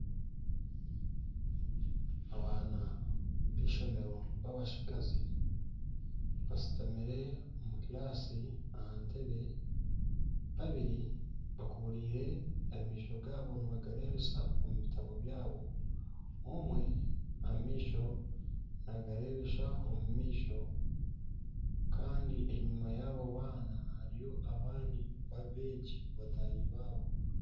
Abaana b'eishomero babatsigazi bashutamire omu kiraasi aha ntebe. Babiri bakuburiire amaisho gaabo nibagareebesa omu bitabo byabo. Omwe amaisho nagareebesa omu maisho. Kandi enyima yaabo baana hariyo abandi beegi bataahi baabo.